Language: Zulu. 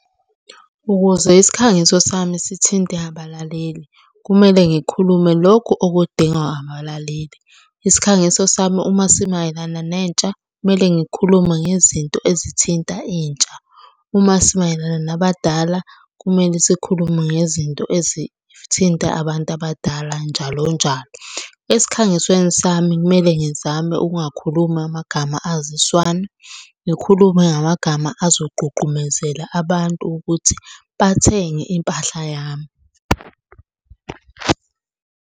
Ukuze isikhangiso sami sithinte abalaleli, kumele ngikhulume lokhu okudingwa abalaleli. Isikhangiso sami uma simayelana nentsha, kumele ngikhulume ngezinto ezithinta intsha. Uma simayelana nabadala, kumele sikhulume ngezinto ezithinta abantu abadala njalonjalo. Esikhangisweni sami kumele ngizame ukungakhulumi amagama aziswana, ngikhulume ngamagama azogqugqumezela abantu ukuthi bathenge impahla yami.